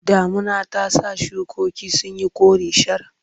Damuna ta sa shukokin sun yi kore shar.